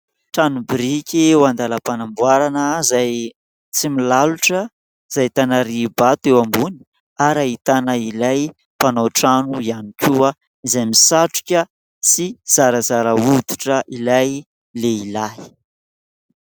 Trano biriky eo andalam-panamboarana izay tsy milalotra sy ahitana riham-bato eo ambony ary ahitana ilay mpanao trano ihany koa izay misatroka sy zarazara hoditra ilay lehilahy.